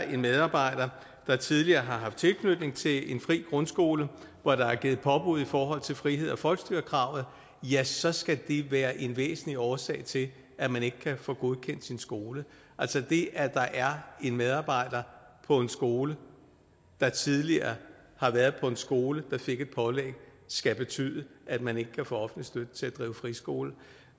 en medarbejder der tidligere har haft tilknytning til en fri grundskole hvor der er givet påbud i forhold til frihed og folkestyre kravet ja så skal det være en væsentlig årsag til at man ikke kan få godkendt sin skole altså det at der er en medarbejder på en skole der tidligere har været på en skole der fik et pålæg skal betyde at man ikke kan få offentlig støtte til at drive friskole